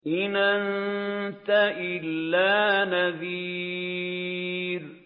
إِنْ أَنتَ إِلَّا نَذِيرٌ